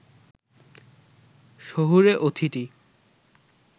শহুরে অতিথি